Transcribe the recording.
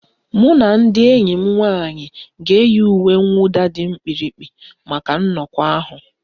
Mụ na ndị enyi m nwanyị ga-eyi uwe mwụda dị mkpirikpi maka nnọkọ ahụ